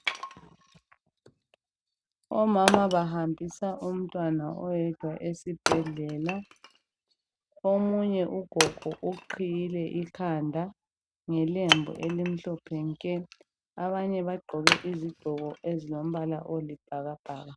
Omama bahambisa umntwana oyedwa esibhedlela. Omunye ugogo uqhiyile ikhanda ngelembu lelimhlophe nke abanye bagqoke izigqoko ezilombala olibhakabhaka.